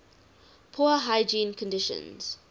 poor hygiene conditions